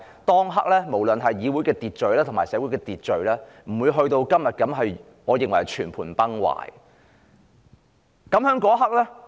當時議會或社會的秩序還未發展至現時我認為是全盤崩壞的情況。